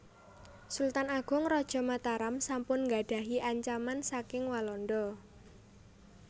Sultan Agung Raja Mataram sampun gadhahi ancaman saking Walanda